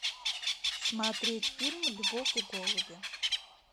смотреть фильм любовь и голуби